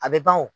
A bɛ ban o